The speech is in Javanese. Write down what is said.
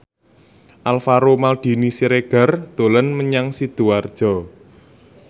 Alvaro Maldini Siregar dolan menyang Sidoarjo